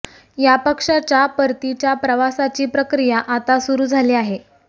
या पक्षाच्या परतीच्या प्रवासाची प्रक्रिया आता सुरू झाली आहे